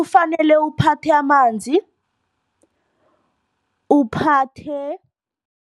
Kufanele uphathe amanzi uphathe.